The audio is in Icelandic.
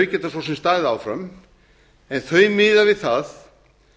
geta svo sem staðið áfram en þau miða við það